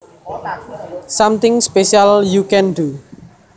Something special you can do